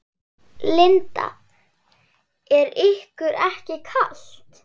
Linda: Er ykkur ekki kalt?